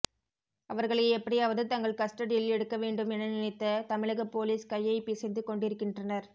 அவர்களை எப்படியாவது தங்கள் கஸ்டடியில் எடுக்க வேண்டும் என நினைத்த தமிழக போலீஸ் கையை பிசைந்து கொண்டிருக்கின்றனர்